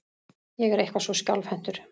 Ég er eitthvað svo skjálfhentur.